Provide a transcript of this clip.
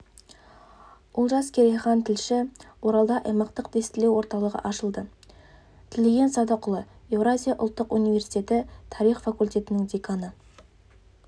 олжас керейхан тілші оралда аймақтық тестілеу орталығы ашылды тілеген садықұлы еуразия ұлттық университеті тарих факультетінің деканы